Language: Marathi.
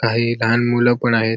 काही लहान मूल पण आहेत.